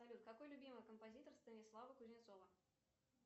салют какой любимый композитор станислава кузнецова